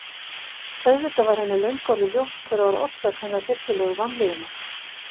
Auðvitað var henni löngu orðið ljóst hver var orsök hennar hryllilegu vanlíðunar.